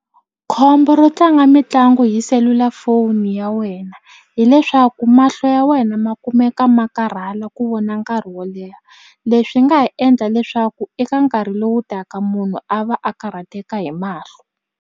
Khombo ro tlanga mitlangu hi selulafoni ya wena hileswaku mahlo ya wena ma kumeka ma karhala ku vona nkarhi wo leha leswi nga ha endla leswaku eka nkarhi lowu taka munhu a va a karhateka hi mahlo.